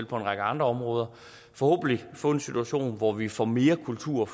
på en række andre områder forhåbentlig få en situation hvor vi får mere kultur